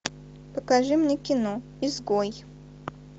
покажи мне кино изгой